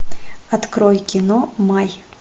открой кино май